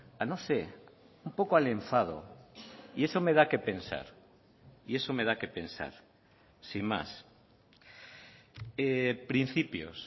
a no sé un poco al enfado y eso me da qué pensar y eso me da qué pensar sin más principios